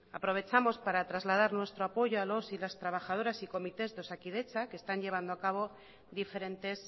aprovechamos para trasladar nuestro apoyo a los y las trabajadoras y comités de osakidetza que están llevando acabo diferentes